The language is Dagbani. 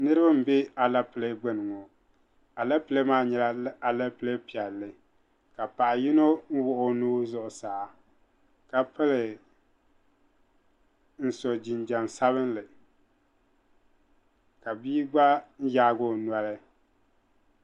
Niriba m-be alepile gbuni alepile maa nyɛla alepile piɛlli ka paɣa yino wuɣi o nuu zuɣusaa ka so jinjam sabinli ka bia gba yaagi o noli.